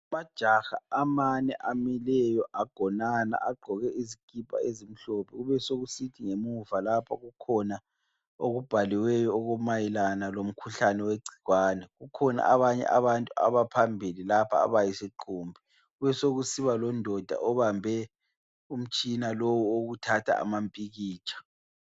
Amajaha amane amileyo agonana agqoke izikipha ezimhlophe, kubesekusithi ngemuva lapho kukhona okubhaliweyo, okumayelana lomkhuhlane wegcikwane. Kukhona abanye abantu abaphambili lapha abayisiqumbi. Kubesekusiba londoda obambe umtshina lo owokuthatha amampikitsha.